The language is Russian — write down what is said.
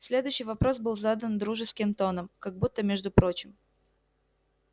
следующий вопрос был задан дружеским тоном как будто между прочим